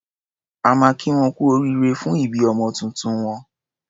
A máa kí wọn kú oríire fún ìbí ọmọ tuntun wọn.